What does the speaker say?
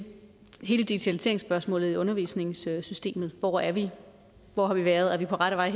hele digitaliseringsspørgsmålet i undervisningssystemet hvor er vi hvor har vi været er vi på rette vej